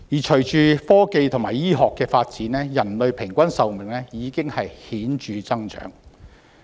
隨着科技和醫學發展，人類的平均壽命已顯著增長。